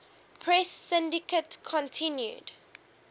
press syndicate continued